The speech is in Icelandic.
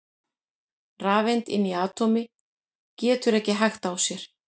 Rafeind inni í atómi getur ekki hægt á sér!